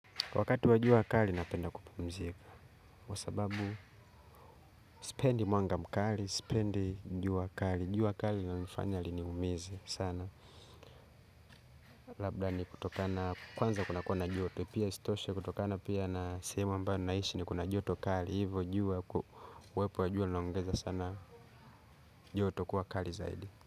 Kwa wakati wa jua kali, napenda kupumzika. Kwa sababu, sipendi mwanga mkali, sipendi jua kali. Jua kali lina nifanya lini umizie sana. Labda ni kutokana, kwanza kuna kuwa na joto. Pia isitoshe kutokana pia na sehemu ambayo ninaishi ni kuna joto kali. Hivo jua, uwepo wa jua linaongeza sana joto kuwa kali zaidi.